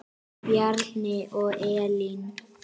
Bjarni og Elín.